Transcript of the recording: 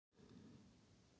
Fagradalsbraut